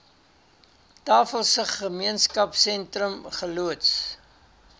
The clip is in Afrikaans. tafelsig gemeenskapsentrum geloods